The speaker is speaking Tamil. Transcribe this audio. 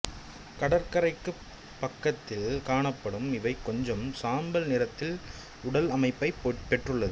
கடற்கரைக்குப் பக்கத்தில் காணப்படும் இவை கொஞ்சம் சாம்பல் நிறத்தில் உடல் அமைப்பைப் பெற்றுள்ளது